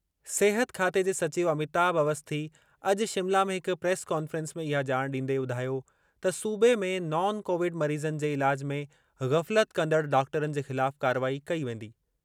सिहत खाते जे सचिव अमिताभ अवस्थी अॼु शिमला में हिक प्रेस कॉन्फ़्रेंस में इहा ॼाण ॾींदे ॿुधायो त सूबे में नॉन कोविड मरीज़नि जे इलाज में ग़फ़लत कंदड़ डॉक्टरनि जे ख़िलाफ़ कारवाई कई वेंदी।